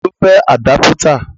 Ta ló fẹ́ àdápítà?